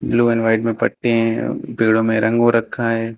Blue and white में पट्टी हैं पेड़ों में रंग हो रखा है।